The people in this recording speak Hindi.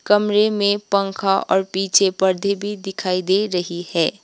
कमरे मे पंखा और पीछे पर्दे भी दिखाई दे रही है।